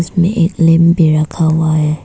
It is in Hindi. एक लैंप भी रखा हुआ है।